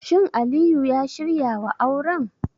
Shin Aliyu ya shirya wa auren?